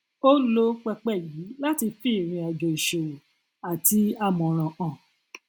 ó lò pẹpẹ yìí láti fi irìnàjò ìṣòwò àti àmòràn hàn